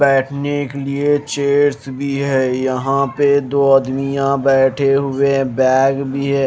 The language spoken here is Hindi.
बैठने के लिए चेज भी है यहां पे दो आदमियां बैठे हुए है बैग भी है।